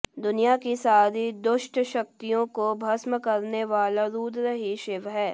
दुनिया की सारी दुष्ट शक्तियों को भस्म करने वाले रुद्र ही शिव हैं